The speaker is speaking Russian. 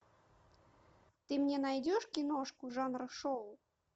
ты мне найдешь киношку жанра шоу